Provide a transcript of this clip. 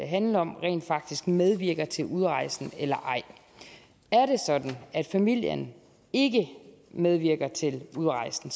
handler om rent faktisk medvirker til udrejsen eller ej er det sådan at familien ikke medvirker til udrejsen